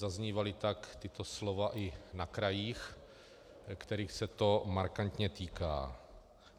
Zaznívala tak tato slova i na krajích, kterých se to markantně týká.